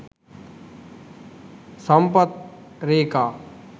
sampath reka